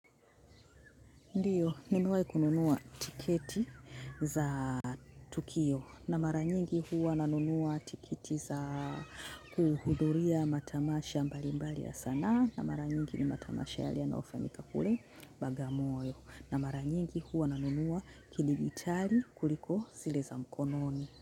Ndio, nimewahi kununua tiketi za tukio na mara nyingi huwa nanunua tiketi za kuhuduria matamasha mbalimbali ya sanaa na mara nyingi ni matamasha yaliyoenda fanyika kule bagamoyo na mara nyingi huwa nanunua kidijitali kuliko zile za mkononi.